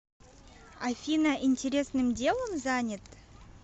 афина интересным делом занят